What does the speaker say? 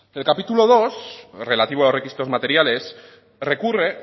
el capítulo segundo relativo a los requisitos materiales recurre